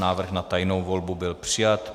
Návrh na tajnou volbu byl přijat.